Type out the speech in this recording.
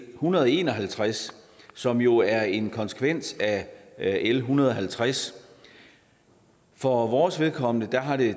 hundrede og en og halvtreds som jo er en konsekvens af l en hundrede og halvtreds for vores vedkommende har det